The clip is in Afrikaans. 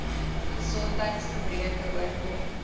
gesondheids gebreke oorkom